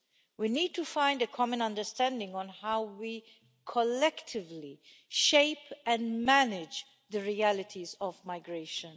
We need to find a common understanding on how we collectively shape and manage the realities of migration.